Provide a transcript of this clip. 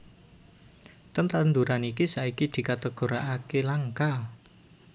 Tetanduran iki saiki dikategorikaké langka